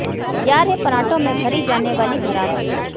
तैयार है परांठों में भरी जाने वाली भरावन